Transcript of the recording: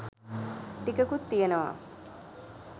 ටිකකුත් තියනවා.